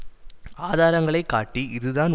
ஆதாரங்களை காட்டி இதுதான் உண்மை என்று